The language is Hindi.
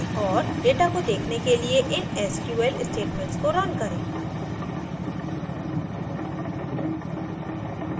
और data को देखने के लिए इन sql statements को रन करें